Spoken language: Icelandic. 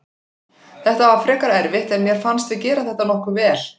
Þetta var frekar erfitt en mér fannst við gera þetta nokkuð vel.